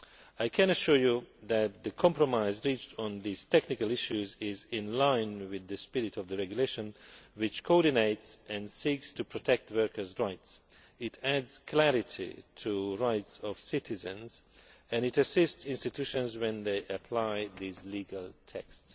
I can assure you that the compromise reached on these technical issues is in line with the spirit of the regulation, which coordinates and seeks to protect workers' rights. It clarifies the rights of citizens and it assists institutions when they apply these legal texts.